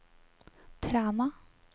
Træna